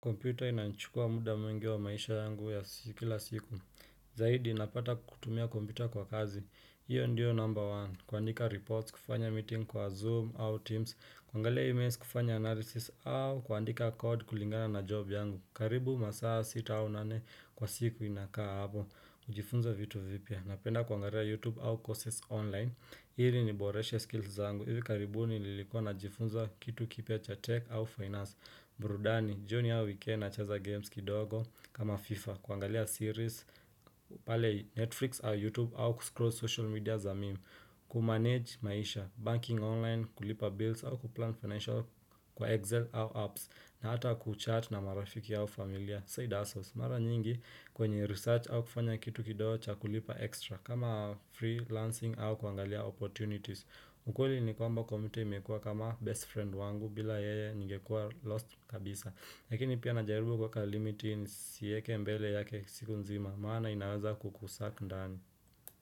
Kompyuta inanichukua muda mwingi wa maisha yangu ya kila siku Zaidi napata kutumia computer kwa kazi, hiyo ndio number one, kuandika reports, kufanya meeting kwa Zoom au Teams, kuangalia emails, kufanya analysis, au kuandika code kulingana na job yangu, karibu masaa sita au nane kwa siku inakaa hapo kujifunza vitu vipya, napenda kuangalia YouTube au courses online, ili niboreshe skills zangu, hivi karibuni nilikuwa najifunza kitu kipya cha tech au finance, burudani, jioni au weekend nacheza games kidogo, kama FIFA, kuangalia series, pale Netflix au YouTube au kuscroll social media za meme Kumanage maisha, banking online, kulipa bills au kuplan financial Kwa Excel au apps, na hata kuchat na marafiki au familia, side hustles, Mara nyingi kwenye research au kufanya kitu kidogo chakulipa extra, kama freelancing au kuangalia opportunities, ukweli ni kuwa kompyuta imekuwa kama best friend wangu, bila yeye ningekuwa lost kabisa Lakini pia najaribu kwa kwa limits, nisieke mbele yake siku nzima, maana inaweza kukusuck ndani.